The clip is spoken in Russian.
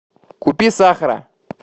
купи сахара